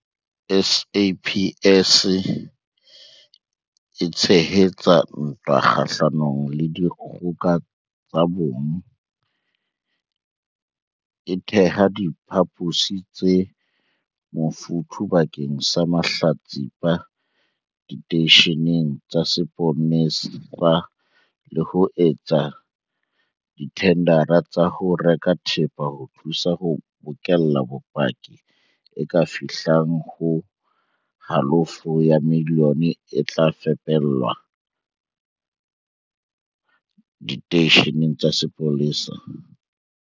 SAPS e tshehetsa ntwa kgahlanong le dikgoka tsa bong, e theha diphaposi tse mofuthu bakeng sa mahlatsipa diteisheneng tsa sepolesa le ho etsa dithendara tsa ho reka thepa ho thusa ho bokella bopaki e ka fihlang ho halofo ya milione e tla fepelwa diteishene tsa sepolesa.